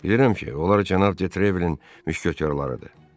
Bilirəm ki, onlar cənab Detrevilenin müşketyorlarıdır.